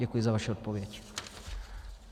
Děkuji za vaši odpověď.